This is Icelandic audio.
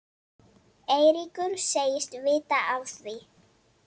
Eiríkur segist vita af því.